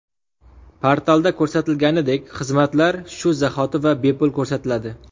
Portalda ko‘rsatilganidek, xizmatlar shu zahoti va bepul ko‘rsatiladi.